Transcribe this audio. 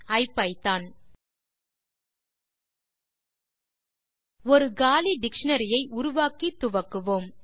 ஐபிதான் ஒரு காலி டிக்ஷனரி ஐ உருவாக்கி துவக்குவோம்